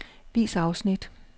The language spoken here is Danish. Vis afsnit.